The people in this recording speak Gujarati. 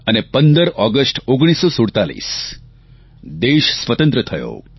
અને 15 ઓગષ્ટ 1947 દેશ સ્વતંત્ર થયો